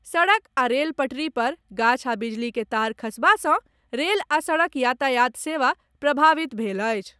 सड़क आ रेल पटरी पर गाछ आ बिजली के तार खसबा सॅ रेल आ सड़क यातायात सेवा प्रभावित भेल अछि।